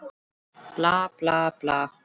Bla, bla, bla.